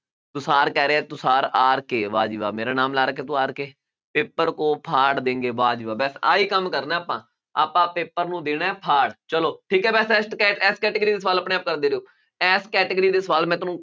ਤੁਸਾਰ ਕਹਿ ਰਿਹਾ ਤੁਸਾਰ ਆਰ ਕੇ ਵਾਹ ਜੀ ਵਾਹ ਮੇਰਾ ਨਾਮ ਲਾ ਰੱਖਿਆ ਤੂੰ ਆਰ ਕੇ paper ਕੋ ਫਾੜ ਦੇਂਗੇ ਵਾਹ ਜੀ ਵਾਹ ਬਸ ਆਹੀ ਕੰਮ ਕਰਨਾ ਹੈ ਆਪਾਂ ਆਪਾਂ paper ਨੂੰ ਦੇਣਾ ਹੈ ਫਾੜ ਚਲੋ ਠੀਕ ਹੈ ਇਸ category ਦੇ ਸਵਾਲ ਆਪਣੇ ਆਪ ਕਰਦੇ ਰਹੋ ਇਸ category ਦੇ ਸਵਾਲ ਮੈਂ ਤੁਹਾਨੂੰ